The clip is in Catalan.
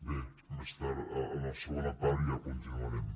bé més tard en la segona part ja continuarem